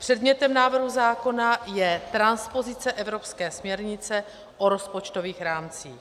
Předmětem návrhu zákona je transpozice evropské směrnice o rozpočtových rámcích.